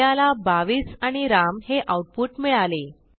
आपल्याला 22 आणि राम हे आऊटपुट मिळाले